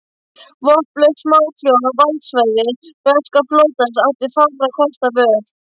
Vopnlaus smáþjóð á valdsvæði breska flotans átti fárra kosta völ.